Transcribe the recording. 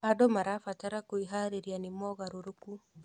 Andũ marabatara kwĩharĩrĩria nĩ mogarũrũku.